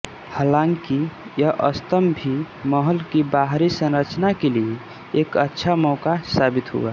हांलाकि यह स्तम्भ भी महल की बाहरी संरचना के लिए एक अच्छा मौका साबित हुआ